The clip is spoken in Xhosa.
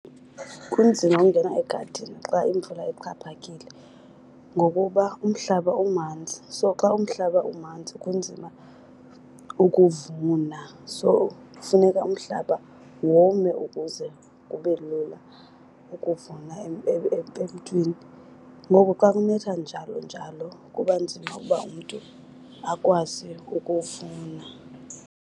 Kunzima ungena egadini xa imvula ixhaphakile ngokuba umhlaba umanzi, so xa umhlaba umanzi kunzima ukuvuna. So funeka umhlaba wome ukuze kube lula ukuvuna emntwini. Ngoko xa kunetha njalo njalo kuba nzima ukuba umntu akwazi ukuvuna.